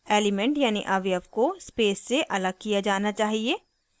* elements यानी अवयव को space से अलग किया जाना चाहिए